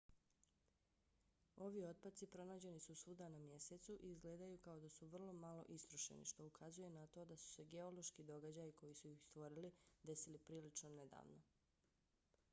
ovi otpaci pronađeni su svuda na mjesecu i izgledaju kao da su vrlo malo istrošeni što ukazuje na to da su se geološki događaji koji su ih stvorili desili prilično nedavno